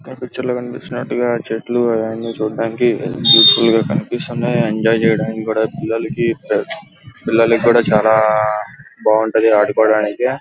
ఇక్కడ పిక్చర్ లో చూస్తునట్లుగా చెట్లు అవి అని చుడానికి కలరఫుల్ గా కనిపిస్తున్నాయి. ఎంజాయ్ చేయడానికి కూడా పిల్లలకి పిల్లలు కూడా చాలా బాగుంటది ఆడుకోవడానికి.